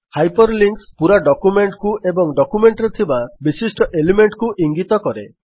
hyperlinks ପୁରା document କୁ ଏବଂ ଡକ୍ୟୁମେଣ୍ଟରେ ଥିବା ବିଶିଷ୍ଟ ଏଲିମେଣ୍ଟ କୁ ଇଙ୍ଗିତ କରେ